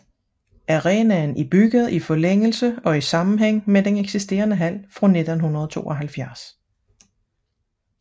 Arenaen er bygget i forlængelse og i sammenhæng med den eksisterende hal fra 1972